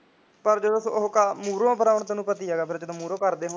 ਪਰ ਜਦੋਂ ਉਹ ਮੂਹਰੋ ਬੁਲਾਉਣ ਫਿਰ ਤੈਨੂੰ ਪਤਾ ਜਦੋਂ ਮੂਹਰੇ ਕਰਦੇ ਹੋਣ